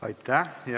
Aitäh!